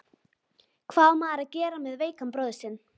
Hvað á maður að gera með veikan bróður sinn?